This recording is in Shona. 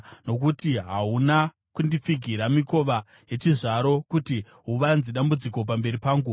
nokuti hahuna kundipfigira mikova yechizvaro kuti huvanze dambudziko pamberi pangu.